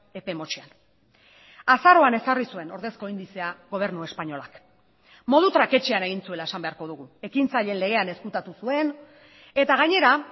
epe motzean azaroan ezarri zuen ordezko indizea gobernu espainolak modu traketsean egin zuela esan beharko dugu ekintzaileen legean ezkutatu zuen eta gainera